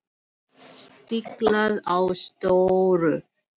Stiklað á stóru